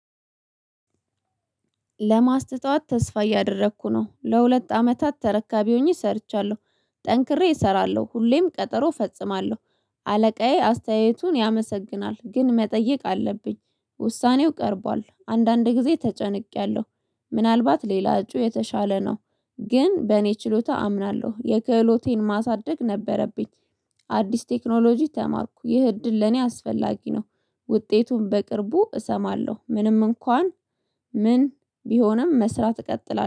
ለማስተዋት ተስፋ እያደረኩ ነው ለሁለት አመታት ተረካቢ ሆኜ ሰርቻለሁ ጠንክሬ እሰራለሁ ሁሌም ቀጠሮ ፈጽማለሁ። አለቃዬ አስተያየቱን ያመሰግናል ግን መጠየቅ አለብኝ ውሳኔው ቀርቧል አንዳንድ ጊዜ ተጨንቄያለሁ። ምናልባት ሌላ እጩ የተሻለ ነው። ግን በእኔ ችሎታ አምናለሁ የክህሎቴን ማሳደግ ነበረብኝ። አዲስ ቴክኖሎጂ ተማርኩ ይህ እድል ለኔ አስፈላጊ ነው። ውጤቱን በቅርቡ እሰማለሁ ምንም እንኳን ምን ቢሆንም መስራት እቀጥላለሁ